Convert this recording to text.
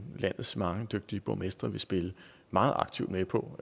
landets mange dygtige borgmestre vil spille meget aktivt med på